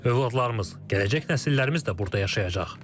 Övladlarımız, gələcək nəsillərimiz də burda yaşayacaq.